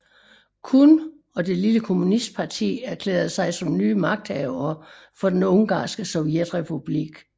Kun og det lille kommunistparti erklærede sig som nye magthavere for Den ungarske sovjetrepublik